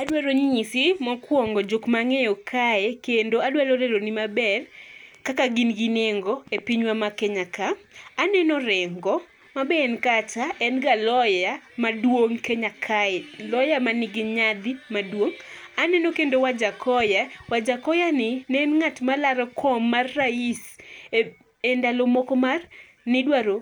Adwaro nyisi mokuongo jok ma ang'eyo kae, kendo adwaro leroni maber kaka in gi nengo e pinywa ma Kenya ka. Aneno Orengo ma be en kacha ma en ga lawyer maduong' Kenya kae, lawyer manigi nyadhi maduong'. Aneno kendo Wajakoya, Wajakoya ni ne en ng'at malaro kom mar rais endalo moko mar nidwaro